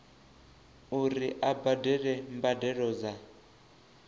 uri a badele mbadelo dza